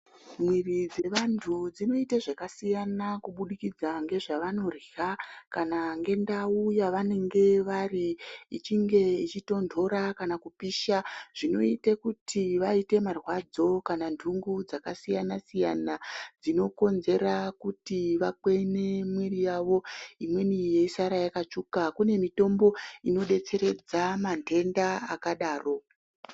Miviri dzevantu dzinoite zvakasiyana kubudikidza ngezvevanorya kana ngendau yevanenge vari, ichinge ichitonhora kana kupisha. Zvinoite kuti vaite marwadzo kana kuti nhungo dzakasiyana siyana dzinokonzera kuti vakwene miviri yavo imweni yeisara yakatsvuka. Kune mitombo inodetseredza manhenda akadaro.